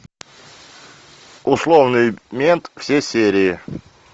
условный мент все серии